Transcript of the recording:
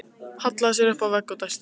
Hallaði sér upp að vegg og dæsti.